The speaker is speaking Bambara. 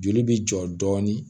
Joli bi jɔ dɔɔnin